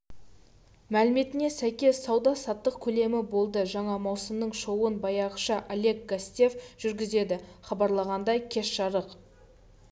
мәліметіне сәйкес сауда-саттық көлемі болды жаңа маусымның шоуын баяғыша олег гостев жүргізеді хабарланғандай кеш жарық